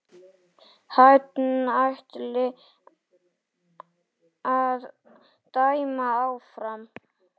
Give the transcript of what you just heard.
Hann ætli að dæma áfram.